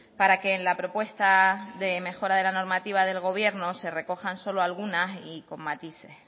para que en la propuesta de mejora de la normativa del gobierno se recojan solo algunas y con matices